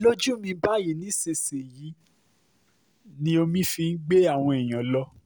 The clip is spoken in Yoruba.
lójú mi nísinsìnyìí báyìí ni omi fi gbé àwọn èèyàn lọ